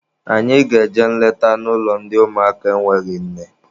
Anyị ga-eje nleta n'ụlọ ndị ụmụaka enweghị nne.